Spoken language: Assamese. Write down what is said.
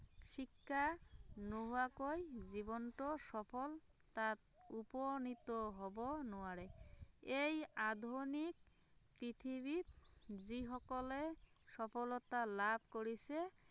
শিক্ষা নহোৱাকৈ জীৱনটো সফলতাত উপনীত হব নোৱাৰে, এই আধুনিক পৃথিৱীত যি সকলে সফলতা লাভ কৰিছে